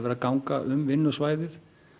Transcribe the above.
að ganga um vinnusvæðið